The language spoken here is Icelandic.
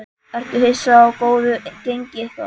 Ertu hissa á góðu gengi ykkar?